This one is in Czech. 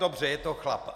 Dobře, je to chlap.